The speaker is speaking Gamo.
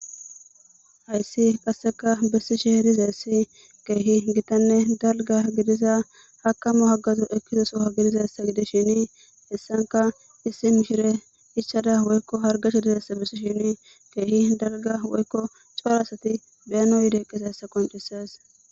Hayssi qasseka bessishe dizayssi keehi gitanne dalgga gidiza hakkamo haggazo ekkiza sohuwa gidizayssa gidishini hessankka issi mishirey ichchada woykko hargashe dizayssa bessishin keehi dalgga woykko cora asati be'anaw yidi eqqizayssa qonccisees.